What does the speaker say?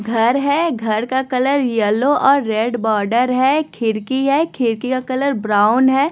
घर है घर का कलर येलो और रेड बॉर्डर है खिरकी है खिरकी का कलर ब्राउन है।